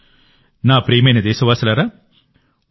నా ప్రియమైన దేశవాసులారా ఈసారి మన్ కీ బాత్లో ఇంతే